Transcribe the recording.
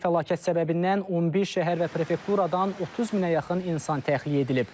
Təbii fəlakət səbəbindən 11 şəhər və prefekturadan 30 minə yaxın insan təxliyə edilib.